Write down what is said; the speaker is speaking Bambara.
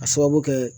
A sababu kɛ